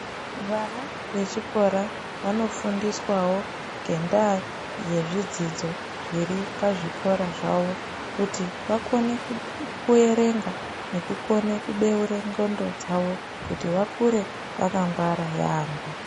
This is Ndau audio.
Vana vechikora vanofundiswawo ngendaa yezvidzidzo zviri pazvikora zvavo kuti vakone kuerenga nekukone kubeure ndxondo dzawo kuti vakure vakangwara yaamho.